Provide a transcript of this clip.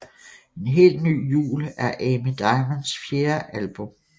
En helt ny jul er Amy Diamonds fjerde album